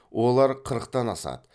олар қырықтан асады